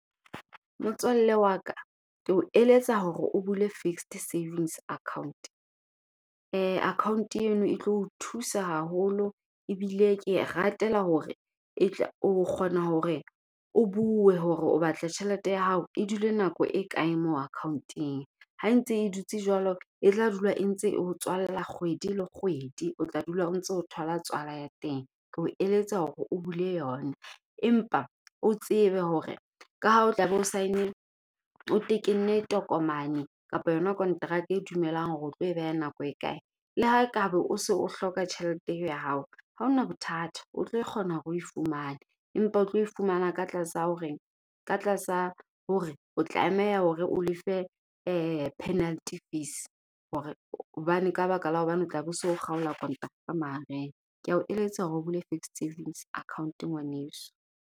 Motswalle wa ka ke o eletsa hore o bule fixed savings account. Account eno e tlo o thusa haholo ebile ke e ratela hore e tla o kgona hore o bue hore o batla tjhelete ya hao e dule nako e kae mo account-eng. Ha ntse e dutse jwalo, e tla dula e ntse eo tswalla kgwedi le kgwedi, o tla dula o ntso o thola tswala ya teng. Ke o eletsa hore o bule yona. Empa o tsebe hore ka ha o tla be o sign-ile, o tekenne tokomane kapa yona contract e dumelang hore o tlo e beha nako e kae. Le ha ekaba o se o hloka tjhelete eo ya hao. Ha ho na bothata o tlo kgona hore oe fumane, empa o tlo e fumana ka tlase ho reng. Ka tlasa hore o tlameha hore o lefe penalty fees. Hore hobane ka baka la hobane o tla be so kgaola mahareng. Kea o eletsa hore o bule fixed savings account ngwaneso.